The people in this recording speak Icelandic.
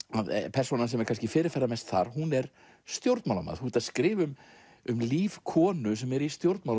persónan sem er kannski fyrirferðarmest hún er stjórnmálamaður þú ert að skrifa um líf konu sem er í stjórnmálum